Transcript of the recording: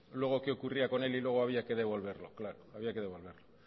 luego que ocurría con él y luego había que devolverlo claro había devolverlo